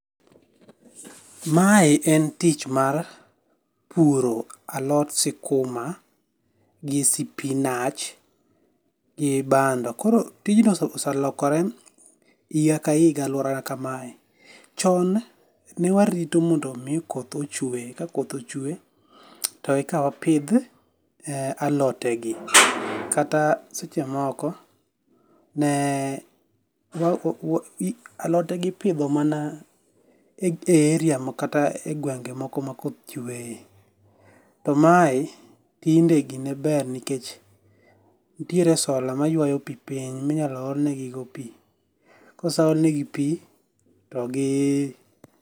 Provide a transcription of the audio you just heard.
Mae en tich mar puro alot skuma gi, spinach gi bando, koro tijni oselokore higa ka higa e aluorana kamae, chon newarito mondo mi koth ochwe ka koth ochwe to eka wapith alotegi kata sechemoko ne alote gi ipitho mana e area kata mana e gwenge' moko ma koth chweye to mae tinde gine ber nikech nitiere solar ma ywayo go pi piny minyalo olnegigopi koseolnegi pi to gi